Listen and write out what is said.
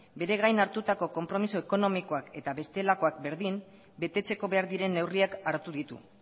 bere gain hartutako konpromiso ekonomikoak eta bestelakoak berdin betetzeko behar diren neurriak hartu ditu